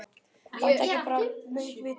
Láttu ekki bara mig vita þetta.